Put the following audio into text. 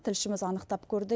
тілшіміз анықтап көрді